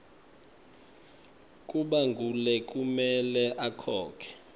kuba ngulekumele akhokhe